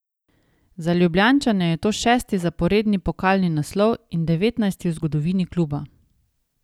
Za Ljubljančane je to šesti zaporedni pokalni naslov in devetnajsti v zgodovini kluba.